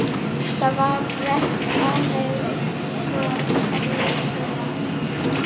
Það var breitt ánægjubros á vörum hennar.